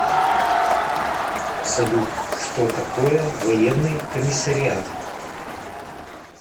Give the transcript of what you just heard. салют что такое военный комиссариат